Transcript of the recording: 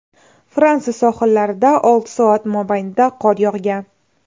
Fransiya sohillarida olti soat mobaynida qor yog‘gan.